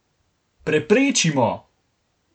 Preprečimo!